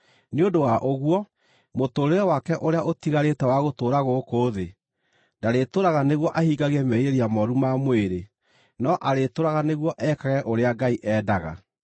Nĩ ũndũ wa ũguo, mũtũũrĩre wake ũrĩa ũtigarĩte wa gũtũũra gũkũ thĩ ndarĩtũũraga nĩguo ahingagie merirĩria mooru ma mwĩrĩ, no arĩtũũraga nĩguo ekage ũrĩa Ngai endaga.